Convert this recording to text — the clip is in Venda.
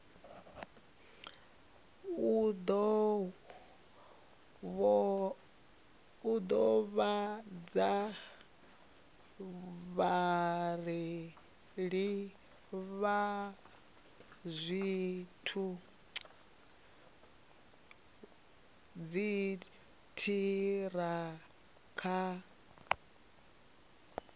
u ḓivhadza vhareili vha dziṱhirakha